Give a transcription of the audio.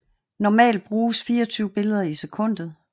Normalt bruges 24 billeder i sekundet